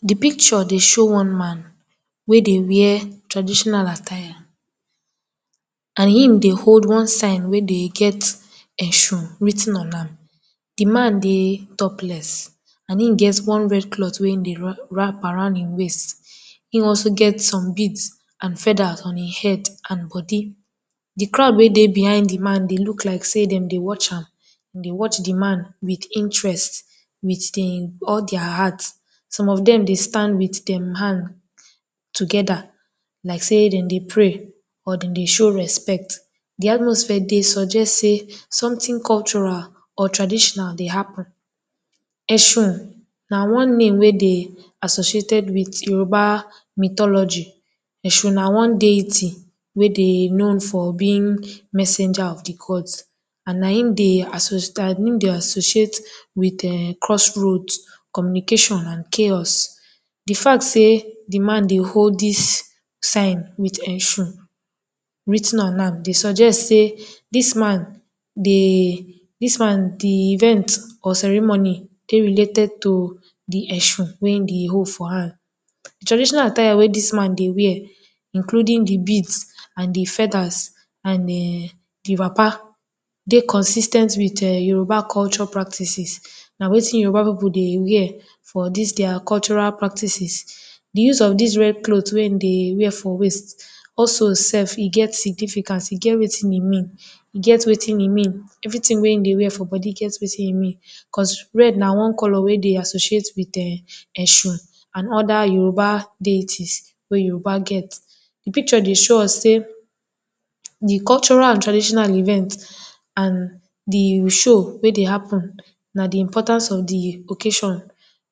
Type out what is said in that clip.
De picture dey show one man wey dey wear traditional attire and him dey hold one sign wey dey get essurun writ ten on am, de man dey topless and im get one red cloth wey im dey? wrap around im waist, him also get some beads and feathers on im head and body. De crowd wey dey behind de man dey look like sey dem dey watch am, dem dey watch de man with interest with dem all their heart, some of dem dey stand with de man together like sey de dem pray or dem dey show respect. De atmosphere dey suggest sey something cultural or traditional dey happen. Essurun na one name wey dey associated with Yoruba mythology, essurun na one deity wey de known for being messenger of de gods and na im dey? associate um cross road communication and chaos. De fact sey de man dey hold dis sign with essurun writ ten on am dey suggest sey dis man dey dis man de events or ceremony dey related to de essurun wey he dey hold for hand. Traditional attire wen dis man dey wear including de beads and de feathers and um de wrapper dey consis ten t with um Yoruba culture practices, na wetin Yoruba pipu dey wear for dis their cultural practices. De use of dis red cloth wey im dey wear for waist, also self e get significance e get wetin e mean get wetin e mean, everything wey he dey wear for body get wetin im mean because red na one colour wey dey associate with um essurun and other Yoruba deities wey Yoruba get. De picture dey show us sey de cultural and traditional event and de show wey dey happen na de importance of de occasion,